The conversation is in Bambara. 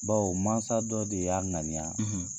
Baw mansasa dɔ de y'a ŋaniya.